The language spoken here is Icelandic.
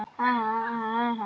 Huggast þú sem grætur.